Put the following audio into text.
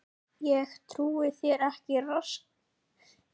Ég trúi þér ekki